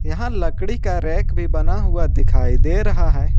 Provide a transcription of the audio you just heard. यहां लकड़ी का रैक भी बना हुआ दिखाई दे रहा है।